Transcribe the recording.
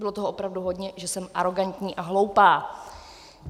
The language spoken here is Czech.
Bylo toho opravdu hodně, že jsem arogantní a hloupá.